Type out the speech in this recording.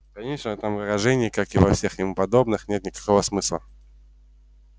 конечно в этом выражении как и во всех ему подобных нет никакого смысла